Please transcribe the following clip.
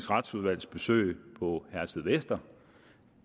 retsudvalgs besøg på herstedvester